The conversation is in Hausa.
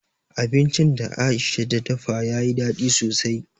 Abincin da Aisha ta dafa ta yi daɗi sosai.